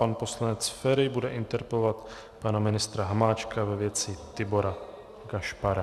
Pan poslanec Feri bude interpelovat pana ministra Hamáčka ve věci Tibora Gašpara.